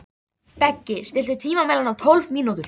Beggi, stilltu tímamælinn á tólf mínútur.